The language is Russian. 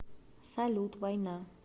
салют война